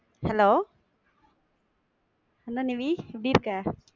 hello என்ன நிவி எப்டி இருக்க?